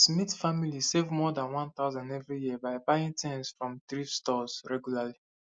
smith family save more than 1000 every year by buying things from thrift stores regularly